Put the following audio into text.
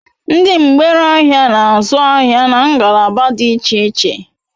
Ndi ngbere ahia n'azu ahia na ngalaba di iche iche